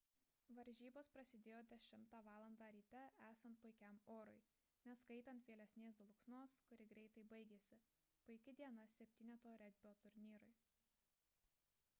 varžybos prasidėjo 10:00 val ryte esant puikiam orui neskaitant vėlesnės dulksnos kuri greitai baigėsi – puiki diena septyneto regbio turnyrui